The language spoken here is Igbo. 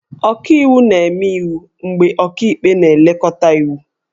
Ọkaiwu na-eme iwu mgbe ọkaikpe na-elekọta iwu